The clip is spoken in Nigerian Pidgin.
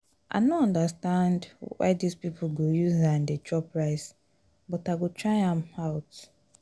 i no understand why dis people go use hand dey chop rice but i go try am out